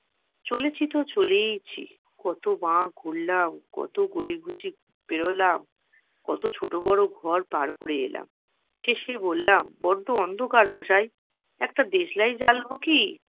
চলেছি তো চলেইছি। কত বাক ঘুরলাম, কত গলি-গুচি পেরোলাম, কত ছোট বড়ো ঘর পার করে এলাম। শেষে বললাম, বড্ডো অন্ধকার মশাই, একটা দেশলাই জ্বালবো কি?